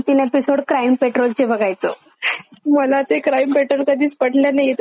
मला ते Crime Patrol कधीच पटल नाही त्याच्यात खूप जास्त निगेटिव्ह दाखवतात.